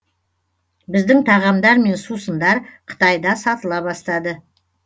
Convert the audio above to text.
біздің тағамдар мен сусындар қытайда сатыла бастады